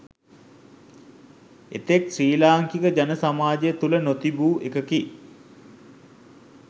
එතෙක් ශ්‍රී ලාංකික ජන සමාජය තුළ නොතිබූ එකකි.